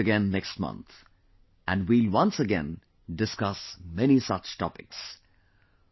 We'll meet again next month, and we'll once again discuss many such topics